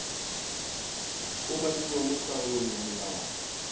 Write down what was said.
umakiwang mo karolong ya molawana